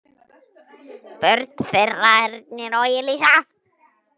Börn þeirra: Ernir og Elísa.